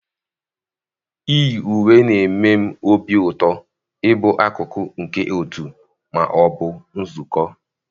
iyi uwe na-eme m obi ụtọ ịbụ akụkụ nke otu ma ọ bụ nzukọ.